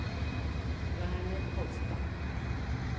Werner Kolstad